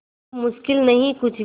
अब मुश्किल नहीं कुछ भी